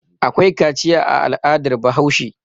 Akwai kaciya a al'adar Bahaushe.